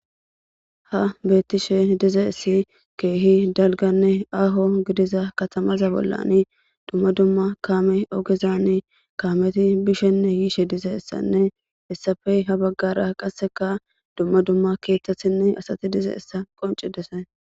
Ha beettishe dize essi keehi dalganne aho gidiza katamaza bollani dumma dumma kaame ogezani kaameti bishenne yiishe dize issanne essafey ha baggara qasseka dumma dumma keethtasinne asati dize issa qoncidese